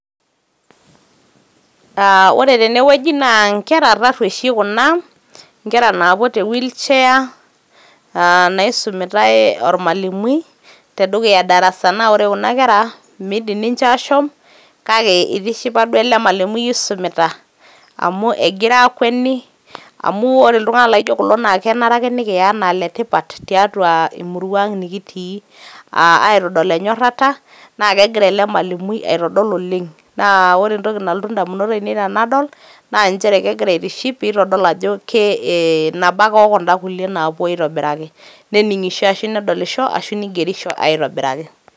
Aah ore tene wueji naa nkera tarrueshi kuna, nkera naapuo te wheel chair naisumitai olmalimui te dukuya darasa. Naa ore kuna kera miidim ninche aashom kake eitishipa duo ele malimui oisumita amu egira aakweni amu ore iltung`anak laijo kulo naa kenare ake nikiya anaa ile tipat tiatua emurua ang nikitii. Aaa aitodol enyorrata naa kegira ele malimui aitodol oleng. Naa ore entoki nalotu indamunot ainei tenadol naa nchere kegira aitiship pee itodol ajo nabo ake o kun`da kulie naapuo aitobiraki nening`isho ashu nedolisho ashu nigerisho aitobiraki.